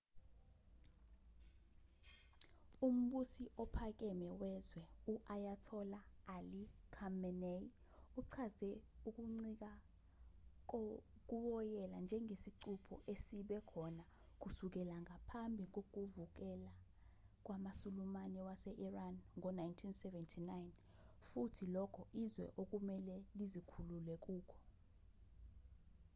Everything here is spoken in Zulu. umbusi ophakeme wezwe u-ayatollah ali khamenei uchaze ukuncika kuwoyela njengesicupho esibe khona kusukela ngaphambi kokuvukela kwamasulumane wase-iran ngo-1979 futhi lokho izwe okumelwe lizikhulule kukho